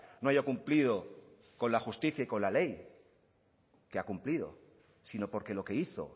no haya cumplido con la justicia y con la ley que ha cumplido sino por que lo que hizo